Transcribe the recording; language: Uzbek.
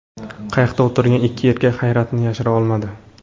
Qayiqda o‘tirgan ikki erkak hayratini yashira olmadi.